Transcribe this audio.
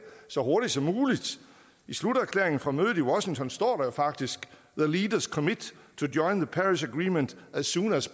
så hurtigt som muligt i sluterklæringen fra mødet i washington står der faktisk the leaders commit to join the paris agreement as soon as